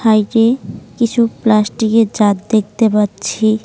হাইকে কিছু প্লাস্টিকের জার দেখতে পাচ্ছি।